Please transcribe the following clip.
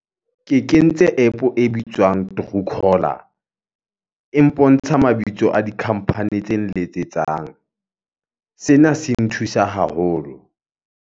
Ke kentse App e bitswang truecaller. E mpontsha mabitso a di-company tse nletsetsang. Sena se nthusa haholo.